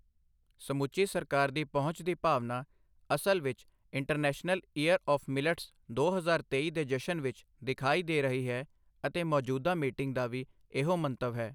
ਸਮੁੱਚੀ ਸਰਕਾਰ ਦੀ ਪਹੁੰਚ ਦੀ ਭਾਵਨਾ ਅਸਲ ਵਿੱਚ ਇੰਟਰਨੈਸ਼ਨਲ ਈਅਰ ਆੱਫ ਮਿਲਟਸ ਦੋ ਹਜ਼ਾਰ ਤੇਈ ਦੇ ਜਸ਼ਨ ਵਿੱਚ ਦਿਖਾਈ ਦੇ ਰਹੀ ਹੈ ਅਤੇ ਮੌਜੂਦਾ ਮੀਟਿੰਗ ਦਾ ਵੀ ਏਹੋ ਮੰਤਵ ਹੈ।